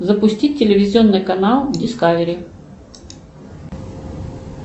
запустить телевизионный канал дискавери